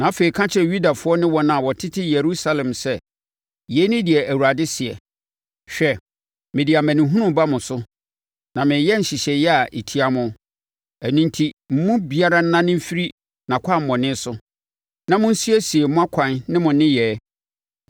“Na afei ka kyerɛ Yudafoɔ ne wɔn a wɔtete Yerusalem sɛ, ‘Yei ne deɛ Awurade seɛ: Hwɛ! Mede amanehunu reba mo so, na mereyɛ nhyehyɛeɛ a ɛtia mo. Ɛno enti mo mu biara nnane mfiri nʼakwammɔne so na monsiesie mo akwan ne mo nneyɛɛ.’